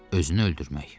Özünü öldürmək.